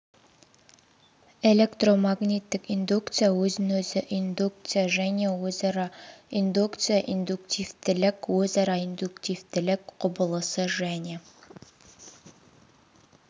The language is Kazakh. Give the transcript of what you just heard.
электромагниттік индукция өзін-өзі индукция және өзара индукция индуктивтілік өзара индуктивтілік құбылысы және